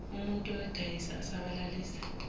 umuntul oyodayisa asabalalise